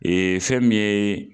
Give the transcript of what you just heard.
Ee fɛn min ye